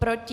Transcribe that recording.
Proti?